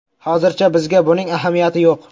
Hozircha bizga buning ahamiyati yo‘q.